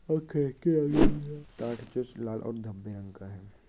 और खिड़की लगी हुई है टाट लाल और धब्बे रंग का है।